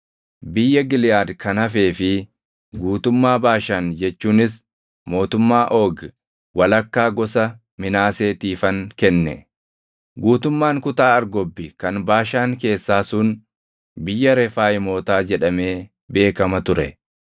Biyya Giliʼaad kan hafee fi guutummaa Baashaan jechuunis mootummaa Oogi walakkaa gosa Minaaseetiifan kenne. Guutummaan kutaa Argobbi kan Baashaan keessaa sun biyya Refaayimootaa jedhamee beekama ture.